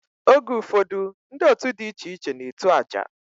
Oge ufodu ndi otu di iche iche na etu aja.